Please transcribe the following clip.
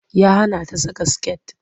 Ya hana ta saka skirt.